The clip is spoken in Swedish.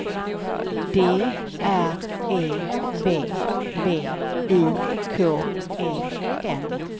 D R E V V I K E N